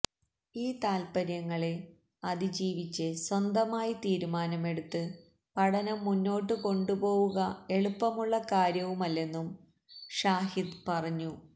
ഈ താത്പര്യങ്ങളെ അതിജീവിച്ച് സ്വന്തമായി തീരുമാനമെടുത്ത് പഠനം മുന്നോട്ട് കൊണ്ടുപോവുക എളുപ്പമുള്ള കാര്യവുമല്ലെന്നും ഷാഹിദ് പറഞ്ഞു